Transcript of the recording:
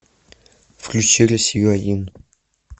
включи россию один